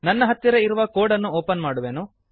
ನನ್ನ ಹತ್ತಿರ ಇರುವ ಕೋಡನ್ನು ಓಪನ್ ಮಾಡುವೆನು